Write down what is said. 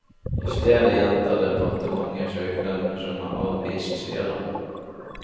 I stedet gjentar departementet søknaden som er avvist, sier han.